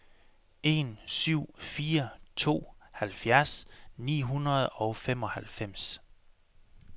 en syv fire to halvfjerds ni hundrede og femoghalvfems